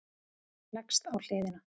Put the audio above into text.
Leggst á hliðina.